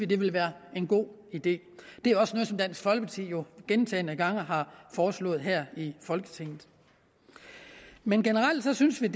det vil være en god idé det er også noget som dansk folkeparti jo gentagne gange har foreslået her i folketinget men generelt synes vi